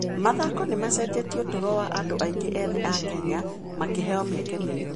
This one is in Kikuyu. Mathako nĩ macenjetie ũtũũro wa andũ aingĩ ethĩ a Kenya, makĩheo mĩeke mĩerũ.